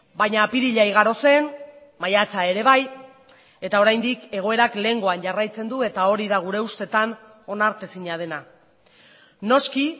baina apirila igaro zen maiatza ere bai eta oraindik egoerak lehengoan jarraitzen du eta hori da gure ustetan onartezina dena noski